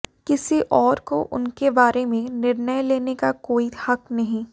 किसी और को उनके बारे में निर्णय लेने का कोई हक नहीं